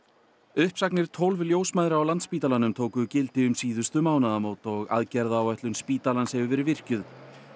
uppsagnir tólf ljósmæðra á Landspítalanum tóku gildi um síðustu mánaðamót og aðgerðaáætlun spítalans hefur verið virkjuð